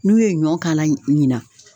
N'u ye ɲɔ k'ala ɲina